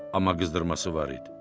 Amma qızdırması var idi.